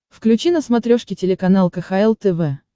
включи на смотрешке телеканал кхл тв